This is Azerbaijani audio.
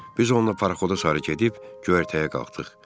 Biz onunla paraxoda sarı gedib, göyərtəyə qalxdıq.